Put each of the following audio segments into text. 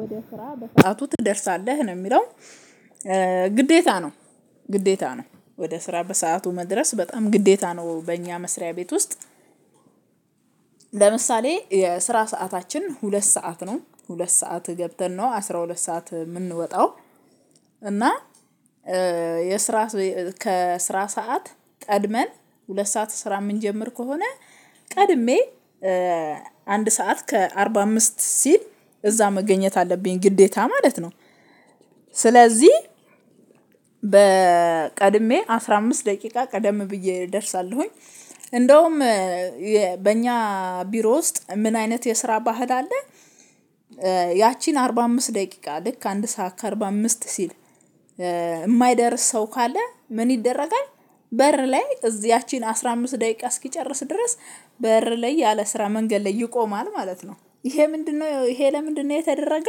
ወደ ስራ በሰአቱ ትደርሳለህ ነው የሚለው ግዴታ ነው። ግዴታ ነው ወደ ስራ በሰአቱ መድረስ በጣም ግዴታ ነው በእኛ መስሪያ ቤት ውስጥ። ለምሳሌ የስራ ሰዓታችን ሁለት ሰዓት ነው ሁለት ሰዓት ገብተን ነው አስራ ሁለት ሰዓት የምንወጣው። እና የስራ ከስራ ሰዓት ቀድመን ሁለት ሰዓት ስራ የምንጀምር ከሆነ ቀድሜ አንድ ሰዓት ከአርባ አምስት ሲል እዛ መገኘት አለብኝ ግዴታ ማለት ነው። ስለዚህ በ ቀድሜ አስራ አምስት ደቂቃ ቀደም ብዬ እደርሳለሁኝ። እንደውም በእኛ ቢሮ ውስጥ ምን አይነት የስራ ባህል አለ። ያቺን አርባ አምስት ደቂቃ ልክ አንድ ሰዓት ከአርባ አምስት ሲል እማይደርስ ሰው ካለ ምን ይደረጋል? በር ላይ እዚያችን አስራ አምስት ደቂቃ እስኪጨርስ ድረስ በር ላይ ያለ ስራ መንገድ ላይ ይቆማል ማለት ነው። ይሄ ምንድነው ይሄ ለምንድነው? የተደረገ።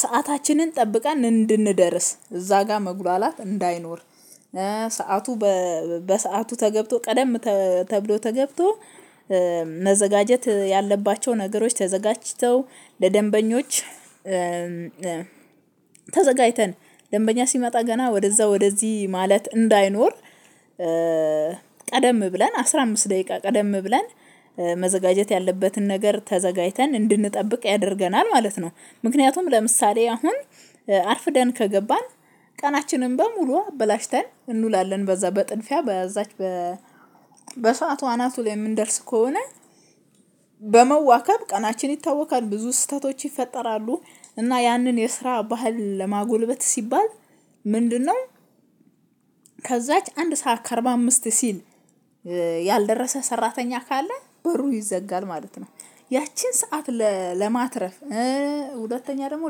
ሰአታችንን ጠብቀን እንድንደርስ እዛ ጋር መጉላላት እንዳይኖር። ሰዓቱ በ በሰአቱ ተገብቶ ቀደም ተ ተብሎ ተገብቶ መዘጋጀት ያለባቸው ነገሮች ተዘጋጅተው ለደንበኞች። ተዘጋጅተን ደንበኛ ሲመጣ ገና ወደዛ ወደዚህ ማለት እንዳይኖር። ቀደም ብለን አስራ አምስት ደቂቃ ቀደም ብለን መዘጋጀት ያለበትን ነገር ተዘጋጅተን እንድንጠብቅ ያደርገናል ማለት ነው። ምክንያቱም ለምሳሌ አሁን አርፍደን ከገባን ቀናችንን በሙሉ አበላሽተን እንውላለን በዛ በጥንፊያ በዛች በ በሰአቱ አናቱ ላይ የምንደርስ ከሆነ በመዋከብ ቀናችን ይታወካል ብዙ ስህተቶች ይፈጠራሉ። እና ያንን የስራ ባህል ለማጎልበት ሲባል ምንድነው? ከዛች አንድ ሰዓት ከአርባ አምስት ሲል ያልደረሰ ሰራተኛ ካለ በሩ ይዘጋል ማለት ነው። ያቺን ሰዓት ለ ለማትረፍ ሁለተኛ ደግሞ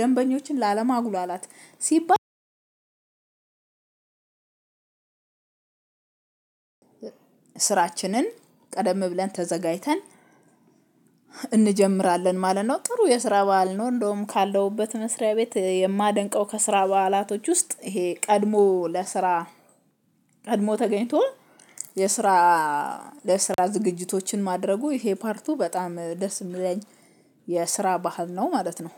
ደንበኞችን ላለ ማጉላላት ሲባል። ስራችንን ቀደም ብለን ተዘጋጅተን እንጀምራለን ማለት ነው። ጥሩ የስራ በዓል ነው እንደውም ካለውበት መስሪያ ቤት የማደንቀው ከስራ በዓላቶች ውስጥ ይሄ ቀድሞ ለስራ ቀድሞ ተገኝቶ የስራ ለስራ ዝግጅቶችን ማድረጉ ይሄ ፓርቱ በጣም ደስ የሚለኝ የስራ ባህል ነው። ማለት ነው